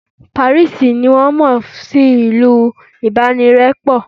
Paris ni won mo sí ìlú ibanirepo